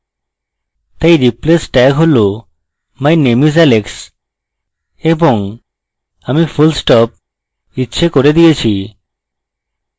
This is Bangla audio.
my replace tags হল my name is alex এবং my full stop ইচ্ছে করে দিয়েছি